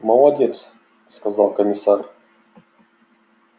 молодец сказал комиссар